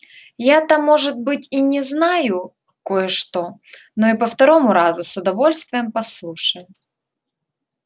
я-то может быть и не знаю кое-что но и по второму разу с удовольствием послушаю